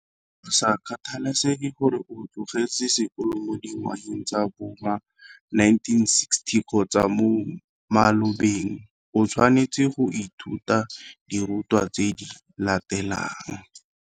Go sa kgathalesege gore o tlogetse sekolo mo dingwageng tsa bo ma 1960 kgotsa mo malobeng, o tshwanetse go ithuta dirutwa tse di latelang.